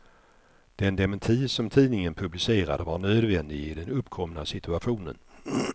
Den dementi som tidningen publicerade var nödvändig i den uppkomna situationen.